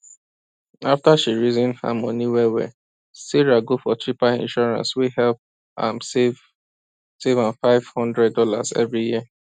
after she reason her money wellwell sarah go for cheaper insurance wey help am save am save five hundred dollars every year